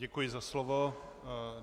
Děkuji za slovo.